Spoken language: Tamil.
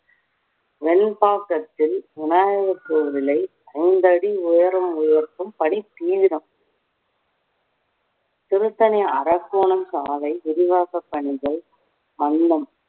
வெண்பாக்கத்தில் விநாயகர் கோவிலை ஐந்தடி உயரம் உயர்த்தும் பணி தீவிரம் திருத்தணி அரக்கோணம் சாலை விரிவாக்க பணிகள் மந்தம்